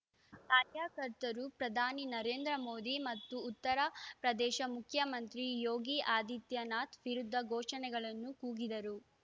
ಆ ರ್ಯಕರ್ತರು ಪ್ರಧಾನಿ ನರೇಂದ್ರ ಮೋದಿ ಮತ್ತು ಉತ್ತರ ಪ್ರದೇಶ ಮುಖ್ಯಮಂತ್ರಿ ಯೋಗಿ ಆದಿತ್ಯನಾಥ್‌ ವಿರುದ್ಧ ಘೋಷಣೆಗಳನ್ನು ಕೂಗಿದರು